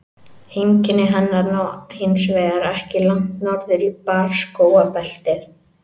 Heimkynni hennar ná hins vegar ekki langt norður í barrskógabeltið.